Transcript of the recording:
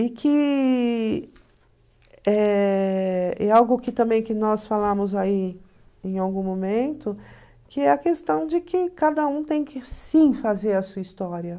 E que eh é algo que também nós falamos aí em algum momento, que é a questão de que cada um tem que sim fazer a sua história.